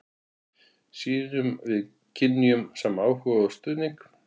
Sýnum við kynjunum sama áhuga og stuðning?